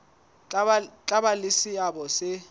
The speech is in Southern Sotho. tla ba le seabo se